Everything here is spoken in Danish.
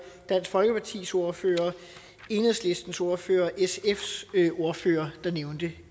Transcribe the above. dansk folkepartis ordfører enhedslistens ordfører og sfs ordfører der nævnte